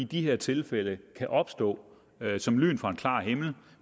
de her tilfælde kan opstå som lyn fra en klar himmel